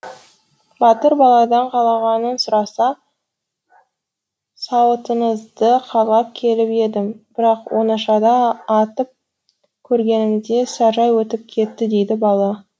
батыр баладан қалағанын сұраса сауытыңызды қалап келіп едім бірақ оңашада атып көргенімде саржай өтіп кетті дейді бала